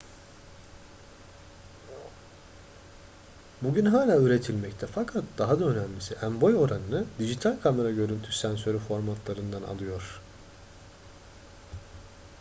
bugün hala üretilmekte fakat daha da önemlisi en-boy oranını dijital kamera görüntü sensörü formatlarından alıyor